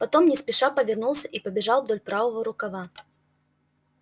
потом не спеша повернулся и побежал вдоль правого рукава